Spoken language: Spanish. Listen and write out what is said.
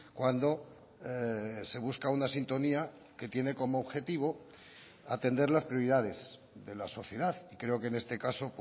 cuando se busca una sintonía que tiene como objetivo atender las prioridades de la sociedad y creo que en este caso